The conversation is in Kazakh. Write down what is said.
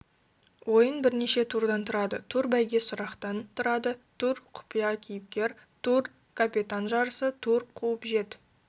ойын бірнеше турдан тұрады тур бәйгесұрақтан тұрады тур құпия кейіпкер тур капитан жарысы тур қуып жет